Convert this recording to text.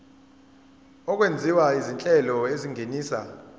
okwenziwa izinhlelo ezingenisa